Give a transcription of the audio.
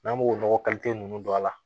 N'an b'o nɔgɔ nunnu don a la